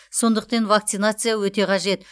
сондықтен вакцинация өте қажет